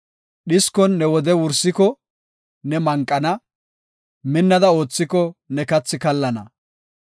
Dhiskon ne wode wursiko ne manqana; minnada oothiko ne kathi kallana.